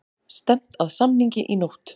Stefnt að samningi í nótt